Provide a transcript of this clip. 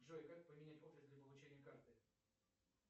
джой как поменять офис для получения карты